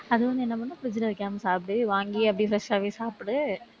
அது வந்து என்ன பண்ணணும் fridge ல வைக்காம சாப்பிடு வாங்கி அப்படியே fresh ஆவே சாப்பிடு.